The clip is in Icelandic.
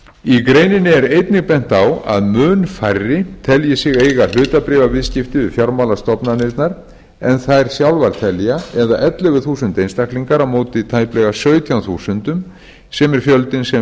í greininni er einnig bent á að mun færri telji sig eiga hlutabréfaviðskipti við fjármálastofnanirnar en þær sjálfar telja eða ellefu þúsund einstaklingar á móti tæplega sautján þúsundum sem er fjöldinn sem